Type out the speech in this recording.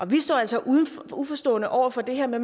vi står altså uforstående over for det her med